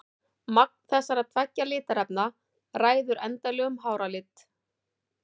Magn þessara tveggja litarefna ræður endanlegum hárlit.